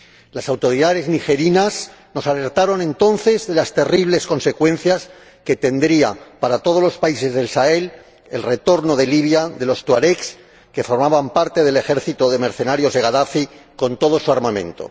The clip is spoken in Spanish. Las autoridades nigerinas nos alertaron entonces de las terribles consecuencias que tendría para todos los países del Sahel el retorno de Libia de los tuaregs que formaban parte del ejército de mercenarios de Gadafi, con todo su armamento.